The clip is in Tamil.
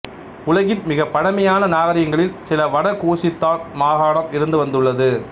உலகின் மிகப் பழமையான நாகரிகங்களில் சில வட கூசித்தான் மாகாணம் இருந்து வந்துள்ளது